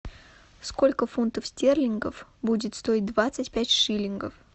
сколько фунтов стерлингов будет стоить двадцать пять шиллингов